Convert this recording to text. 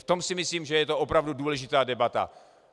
V tom si myslím, že je to opravdu důležitá debata.